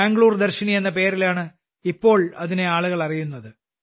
ബാംഗ്ലൂർ ദർശിനി എന്ന പേരിലാണ് ഇപ്പോൾ അതിനെ ആളുകൾ അറിയുന്നത്